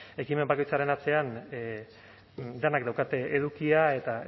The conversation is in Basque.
ekimen bakoitzaren atzean denek daukate edukia eta